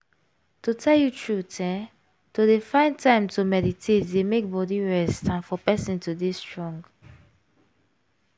to tell you truth eeh! to dey find time to meditate dey make body rest and for person to dey strong.